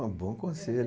É um bom conselho